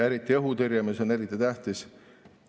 Eriti õhutõrje on eriti tähtis.